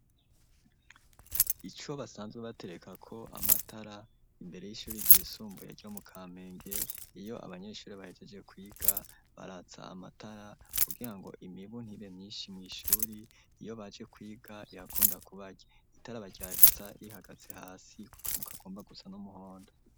Ico basanzwe batereka ko, amatara imbere y'ishuri ry'isumbuye ryo mu kamenge, iyo abanyeshuri bahejeje kwiga baratsa amatara, kugira ngo imibu ntibe myinshi mw'ishuri iyo baje kwiga irakunda kubarya itara baratsa rihagatse hasi, ku kantu kagomba gusa n'umuhondo.